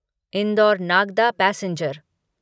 indoor Nagda passenger